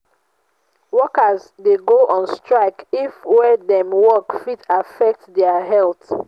workers de go on strike if where dem walk fit affect um their health